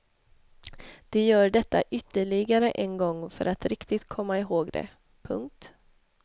De gör detta ytterligare en gång för att riktigt komma ihåg det. punkt